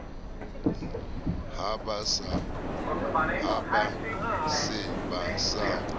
ha ba se ba sa